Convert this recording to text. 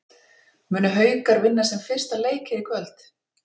Munu Haukar vinna sinn fyrsta leik hér í kvöld?